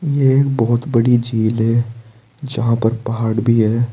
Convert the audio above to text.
ये एक बहुत बड़ी झील है जहां पर पहाड़ भी है।